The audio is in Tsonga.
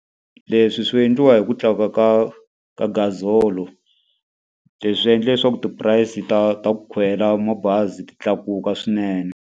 Leswi swi endliwa hi ku tlakuka ka ka gazalo. Leswi endla leswaku ti-price ta ta ku khwela mabazi ti tlakuka swinene.